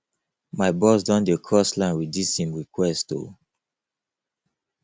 my boss don dey cross line wit dis im request o